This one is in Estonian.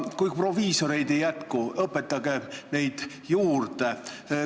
Kui proviisoreid ei jätku, siis õpetage neid juurde.